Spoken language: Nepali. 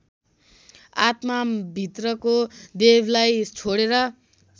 आत्माभित्रको देवलाई छोडेर